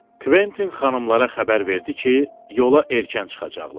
Kventin xanımlara xəbər verdi ki, yola erkən çıxacaqlar.